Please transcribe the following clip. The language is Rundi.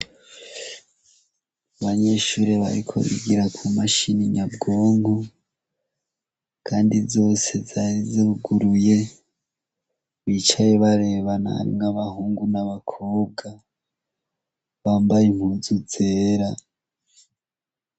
Banyeshure barikozigira ku mashininyabwongo, kandi zose zazoguruye bicaye barebananw'abahungu n'abakobwa bambaye muzu zera.